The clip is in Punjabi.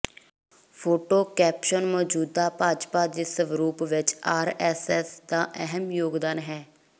ਫੋਟੋ ਕੈਪਸ਼ਨ ਮੌਜੂਦਾ ਭਾਜਪਾ ਦੇ ਸਰੂਪ ਵਿੱਚ ਆਰ ਐੱਸ ਐੱਸ ਦਾ ਅਹਿਮ ਯੋਗਦਾਨ ਹੈ